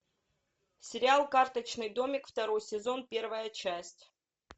сериал карточный домик второй сезон первая часть